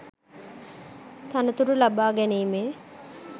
තනතුරු ලබාගැනීමේ